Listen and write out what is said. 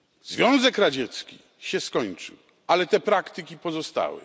Związek Radziecki się skończył, ale te praktyki pozostały.